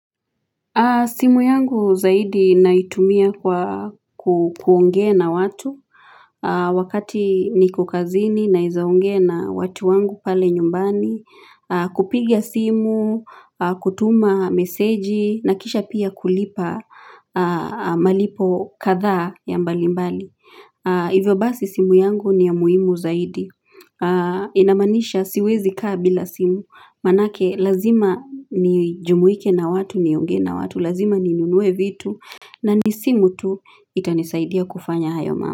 Simu yangu zaidi naitumia kwa kuongea na watu wakati niko kazini naeza ongea na watu wangu pale nyumbani, kupiga simu, kutuma meseji na kisha pia kulipa malipo katha ya mbalimbali. Hivyo basi simu yangu ni ya muhimu zaidi, inamanisha siwezi kaa bila simu, manake lazima ni jumuike na watu, nionge na watu, lazima ni nunue vitu, na ni simu tu itanisaidia kufanya hayo mambo.